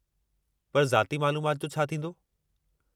पर ज़ाती मालूमाति जो छा थींदो?